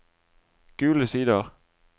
Gule Sider